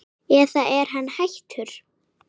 eða er hann hættur?